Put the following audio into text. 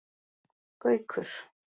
Gaukur